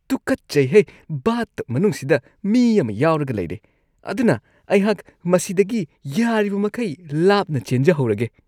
ꯇꯨꯀꯠꯆꯩꯍꯦ, ꯕꯥꯊꯇꯕ ꯃꯅꯨꯡꯁꯤꯗ ꯃꯤ ꯑꯃ ꯌꯥꯎꯔꯒ ꯂꯩꯔꯦ ꯑꯗꯨꯅ ꯑꯩꯍꯥꯛ ꯃꯁꯤꯗꯒꯤ ꯌꯥꯔꯤꯕꯃꯈꯩ ꯂꯥꯞꯅ ꯆꯦꯟꯖꯍꯧꯔꯒꯦ꯫